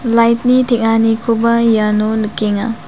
lait ni teng·anikoba iano nikenga.